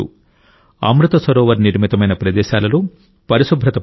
అమృత్ సరోవర్ నిర్మితమైన ప్రదేశాలలో పరిశుభ్రత పాటించాలి